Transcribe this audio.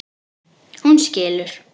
Hún skilur.